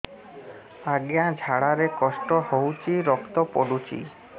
ଅଜ୍ଞା ଝାଡା ରେ କଷ୍ଟ ହଉଚି ରକ୍ତ ପଡୁଛି